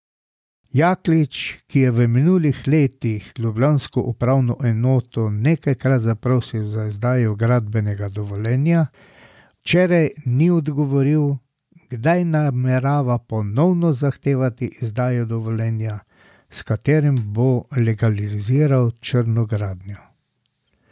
Jaklič, ki je v minulih letih ljubljansko upravno enoto nekajkrat zaprosil za izdajo gradbenega dovoljenja, včeraj ni odgovoril, kdaj namerava ponovno zahtevati izdajo dovoljenja, s katerim bo legaliziral črno gradnjo.